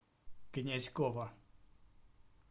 князькова